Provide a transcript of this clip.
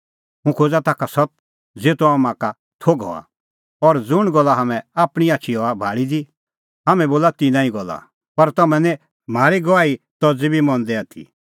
हुंह खोज़ा ताखा सत्त ज़ेतो हाम्हां का थोघ हआ और ज़ुंण गल्ला हाम्हैं आपणीं आछी हआ भाल़ी दी हाम्हैं बोला तिन्नां ई गल्ला पर तम्हैं निं म्हारी गवाही तज़ी बी मंदै आथी